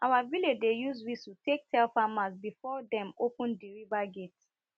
our village dey use whistle take tell farmers before dem open di river gate